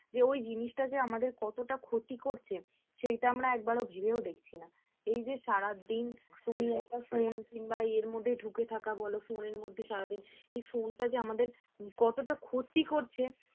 যে ওই জিনিসটা যে আমাদের কতটা ক্ষতি করেছে সেটা আমরা একবারও ভেবেও দেখছি না এই যে সারাদিন তুমি একটা phone কিংবা ইয়ের মধ্যে ঢুকে থাকা বল phone এর মধ্যে সারাদিন এই phone টা যে আমাদের কতটা ক্ষতি করছে